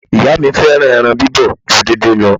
Ìyá mi fẹ́ràn ẹran bíbọ̀ ju díndín lọ.